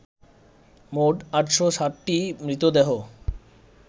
মোট ৮০৭টি মৃতদেহ